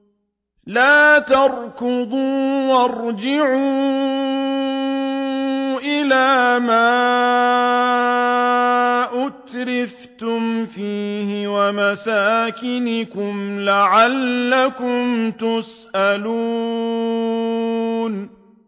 لَا تَرْكُضُوا وَارْجِعُوا إِلَىٰ مَا أُتْرِفْتُمْ فِيهِ وَمَسَاكِنِكُمْ لَعَلَّكُمْ تُسْأَلُونَ